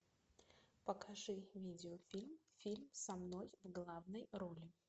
покажи видеофильм фильм со мной в главной роли